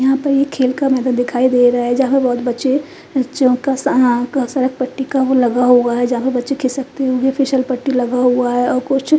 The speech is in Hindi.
यहां पे एक खेल माहौल दिखाई दे रहा है जहा बोहोत बच्चे फिसर पट्टी लगा हुआ है जहा बच्चे खिसकते है वो फिसल पट्टी लगा हुआ है और --